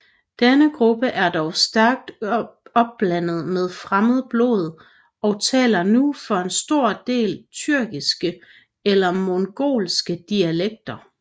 Denne gruppe er dog stærkt opblandet med fremmed blod og taler nu for en stor del tyrkiske eller mongolske dialekter